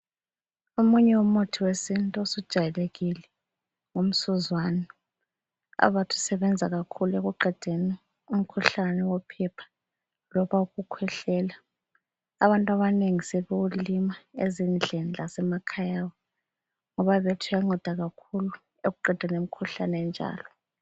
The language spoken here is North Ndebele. Omunye umuthi wesintu osujwayelekile ngumsuzwane. Abathi usebenza kakhulu ekuqedeni umkhuhlane wophepha loba ukukhwehlela. Abantu abanengi sebewulima ezindlini lasemakhaya abo. Ngoba bethi uyanceda kakhulu ekuqedeni imkhuhlane enjalo.